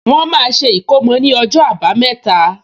Wọ́n máa ṣe ìkómò ní ọjọ́ àbámẹ́ta